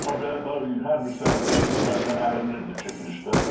Amma belə hər bir sənətkar kimi bəzən ərinirdi çəkilişdə.